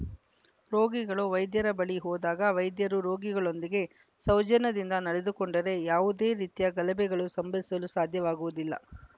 ರೋಗಿಗಳು ವ್ಯೆದ್ಯರ ಬಳಿ ಹೋದಾಗ ವೈದ್ಯರು ರೋಗಿಗಳೊಂದಿಗೆ ಸೌಜನ್ಯದಿಂದ ನಡೆದುಕೊಂಡರೆ ಯಾವುದೇ ರೀತಿಯ ಗಲಭೆಗಳು ಸಂಭವಿಸಲು ಸಾಧ್ಯವಾಗುವುದಿಲ್ಲ